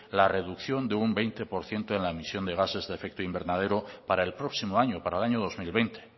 la reducción de un veinte por ciento en la emisión de gases de efectos invernadero para el próximo año para el año dos mil veinte